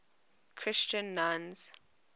christian nuns